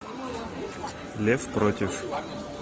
лев против